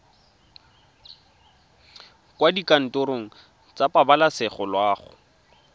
kwa dikantorong tsa pabalesego loago